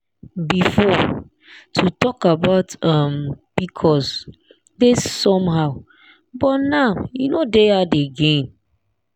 before to talk about um pcos dey somehow but now e no dey hard again.